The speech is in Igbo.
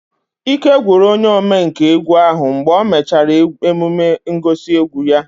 Ike gwụrụ onye omenkà egwu ahu mgbe o mechara emume ngosi egwu ya